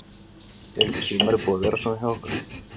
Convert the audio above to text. Er ekki sumarið búið að vera svona hjá okkur?